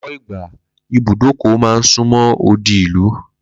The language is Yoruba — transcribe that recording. Ló̩pò̩ ìgbà, ibùdókò̩ máa ń súnmó̩ odi ìlú